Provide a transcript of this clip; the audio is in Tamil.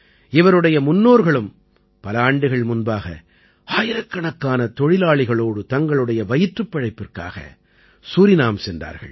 இவருடைய முன்னோர்களும் பல ஆண்டுகள் முன்பாக ஆயிரக்கணக்கான தொழிலாளிகளோடு தங்களுடைய வயிற்றுப் பிழைப்பிற்காக சூரினாம் சென்றார்கள்